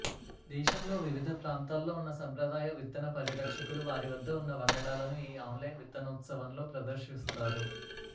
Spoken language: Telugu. దేశంలో వివిధ ప్రాంతాల్లో ఉన్న సంప్రదాయ విత్తన పరిరక్షకులు వారి వద్ద ఉన్న వంగడాలను ఈ ఆన్లైన్ విత్తనోత్సవంలో ప్రదర్శిస్తారు